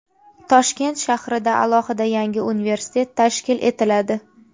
Toshkent shahrida alohida yangi universitet tashkil etiladi.